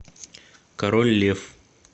король лев